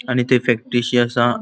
आणि ते फॅक्टरीशी असा.